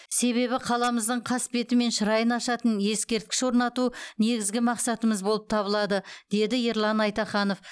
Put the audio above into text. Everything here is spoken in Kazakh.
себебі қаламыздың қасбеті мен шырайын ашатын ескерткіш орнату негізгі мақсатымыз болып табылады деді ерлан айтаханов